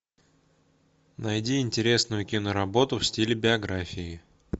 найди интересную киноработу в стиле биографии